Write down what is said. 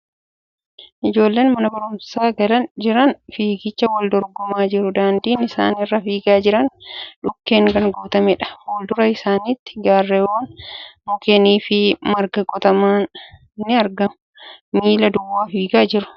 Ijoolleen mana barumsaatii galaa jiran fiigichaa wal dorgomaa jiru. Daandiin isaan irra fiigaa jiran dhukkeen kan guutameedha. Fuuldura isaaniitti garreewwan mukkeen fi margaan quutaman ni argamu. Miila duwwaa fiigaa jiru.